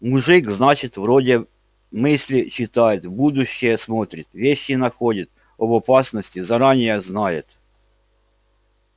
мужик значит вроде мысли читает в будущее смотрит вещи находит об опасности заранее знает